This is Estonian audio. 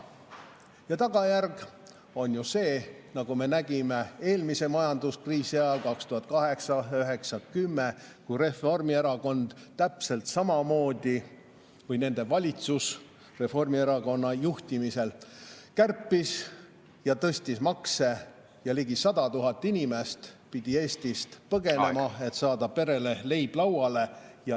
Ja tagajärg on see, nagu me nägime eelmise majanduskriisi ajal, aastail 2008, 2009 ja 2010, kui Reformierakond või valitsus Reformierakonna juhtimisel täpselt samamoodi kärpis ja tõstis makse ja ligi 100 000 inimest pidi Eestist põgenema, et saada perele leib lauale.